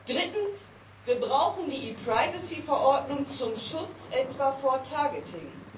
Drittens Wir brauchen die ePrivacy Verordnung zum Schutz etwa vor targeting